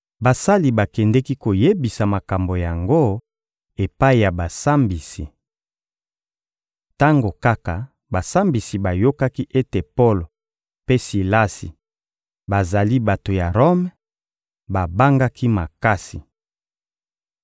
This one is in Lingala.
Basali bakendeki koyebisa makambo yango epai ya basambisi. Tango kaka basambisi bayokaki ete Polo mpe Silasi bazali bato ya Rome, babangaki makasi.